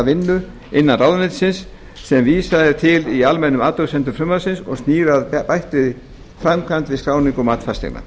vinnu innan ráðuneytisins sem vísað er til í almennum athugasemdum frumvarpsins og snýr að bættri framkvæmd við skráningu og mat fasteigna